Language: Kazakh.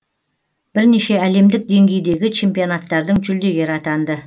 бірнеше әлемдік деңгейдегі чемпионаттардың жүлдегері атанды